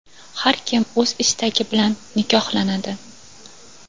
Har kim o‘z istagi bilan nikohlanadi.